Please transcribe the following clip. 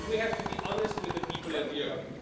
And we have to be honest with the people of Europe.